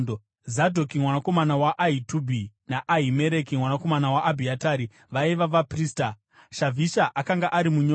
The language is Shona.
Zadhoki mwanakomana waAhitubhi naAhimereki mwanakomana waAbhiatari vaiva vaprista; Shavhisha akanga ari munyori;